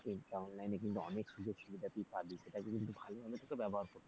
কিন্তু online এ কিন্তু অনেক সুযোগসুবিধা তুই পাবি, সেটাকে কিন্তু ভালো ভাবে তোকে ব্যবহার করতে হবে।